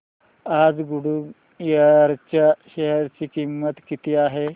आज गुडइयर च्या शेअर ची किंमत किती आहे